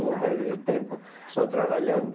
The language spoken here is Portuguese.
essa época? eu vou perder tempo só trabalhando?